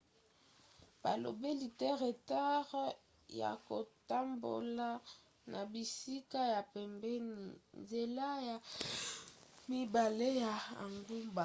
balobeli te retard ya kotambola na bisika ya pembeni nzela ya mibale ya engumba